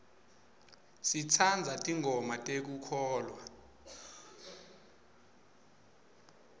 sitsandza tingoma tekukholwa